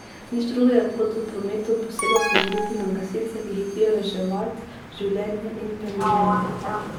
Nič drugega kot v prometu posebej opozoriti na gasilce, ki hitijo reševat življenja in premoženje.